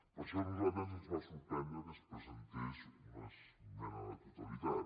per això a nosaltres ens va sorprendre que es presentés una esmena a la totalitat